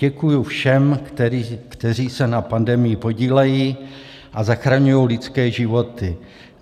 Děkuji všem, kteří se na pandemii podílejí a zachraňují lidské životy.